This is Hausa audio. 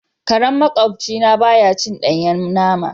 Karen maƙwabci na baya cin danyen nama.